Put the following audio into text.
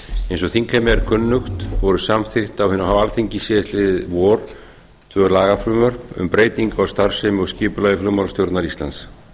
eins og þingheimi er kunnugt voru samþykkt á hinu háa alþingi síðastliðið vor tvö lagafrumvörp um breytingu á starfsemi og skipulagi flugmálastjórnar íslands